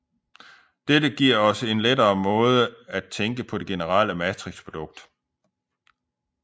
Dette giver os en lidt lettere måde at tænke på det generelle matrixprodukt